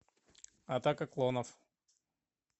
атака клонов